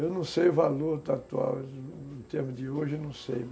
Eu não sei o valor atual, em termos de hoje, não sei.